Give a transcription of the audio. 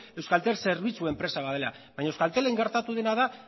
euskaltel zerbitzu enpresa bat dela baina euskaltelen gertatu dena da